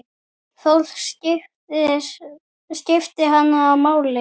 Fólk skipti hana máli.